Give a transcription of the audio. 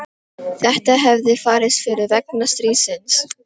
Þetta hefði farist fyrir vegna stríðsins.